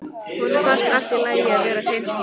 Honum finnst allt í lagi að vera hreinskilinn.